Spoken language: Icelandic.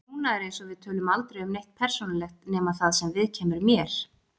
Núna er eins og við tölum aldrei um neitt persónulegt nema það sem viðkemur mér.